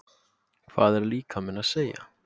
Hvað er líkaminn að segja